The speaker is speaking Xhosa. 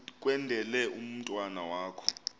kwendele umntwana wakho